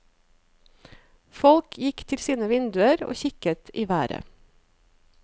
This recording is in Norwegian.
Folk gikk til sine vinduer og kikket i været.